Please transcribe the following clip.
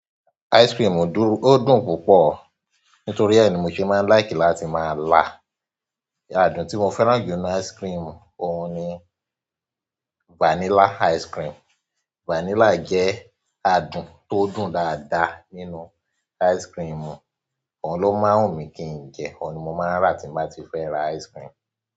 Ice cream dùn, ó dùn púpọ̀. Nítorí ẹ ni mó ṣé máa ń láìkì láti máa la. Adùn tí mó fẹ́ràn jù nínú ice cream, òun ni vanilla ice cream. Vanilla jẹ́ adùn tó dùn dáadáa nínú ice cream. Òun ló máa ń wùmí kí n jẹ, òun ni mo máa ń ra tí n bá fẹ ra ice cream.